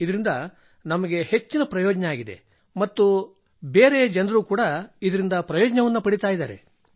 ಇದರಿಂದ ನಮಗೆ ಹೆಚ್ಚಿನ ಪ್ರಯೋಜನವಾಗಿದೆ ಮತ್ತು ಇತರ ಜನರು ಸಹ ಇದರಿಂದ ಪ್ರಯೋಜನ ಪಡೆಯುತ್ತಿದ್ದಾರೆ